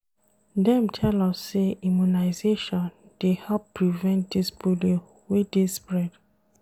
Dem tell us sey immunization dey help prevent dis polio wey dey spread.